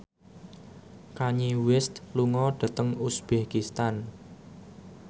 Kanye West lunga dhateng uzbekistan